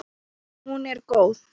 Hún er góð.